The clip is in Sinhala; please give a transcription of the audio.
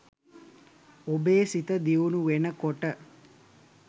ඔබේ සිත දියුණු වෙන කොට